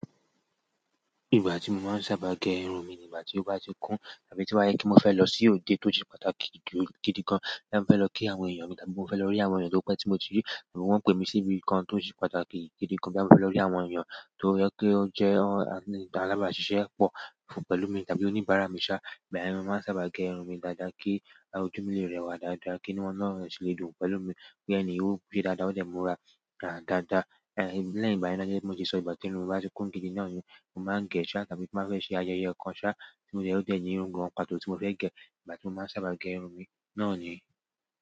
Ìgbà tí mo máa ń sábà gẹ irun mi ni ìgbà tí ó bá ti kún tàbí tí o ba je pe mo fẹ́ lọ sí òde tó se pàtàkì gidigan, boya mo fe lo ki àwọn eeyan mi tàbí mo fe lo ri àwọn eeyan to pe ti mo ti ri àbí won pe mi si ibìkan to pàtàkì gidi gan, boya mo fẹ́ lọ rí àwọn èèyàn tó jẹ pé ó jẹ́ àlabaṣíṣẹ́ pọ̀ pẹ̀lú mi tàbí oníbàárà mi ṣá, igbayen ni mo máa ń sábà gẹ irun mi dáadáa kí ojú mi lè rẹwà dáadáa kí inú wọ́n ó sílẹ̀ dùn pẹ̀lú mi pe ènìyii ò pe dáadáa ó dẹ́ mó ra dáadáa. Ẹ̀, lẹ́yìn ìgbayen gẹ́gẹ́ bi mo ti sọ ìgbà tí irun bá ti kún gidi náà ni mo máa ń gẹ́ ṣá tàbí tí n bá fẹ́ ṣe ayẹyẹ kan ṣá o dẹ́ ó de ní irun gan pàtó tí mo fẹ́ gẹ ìgbà tí mo máa ń sábà gẹ irun mi náà ni.